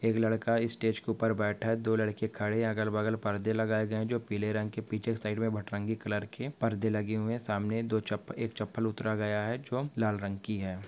एक लड़का इस स्टेज के ऊपर बैठक दो लड़के खड़े है अगल-बगल पड़े लगाए गए है जो पीले रंग के पीछे साइड मे भटरंगी कलर के परदे लगे हुए है सामने दो चप्पल एक चप्पल उतारा गया है जो लाल रंग की है।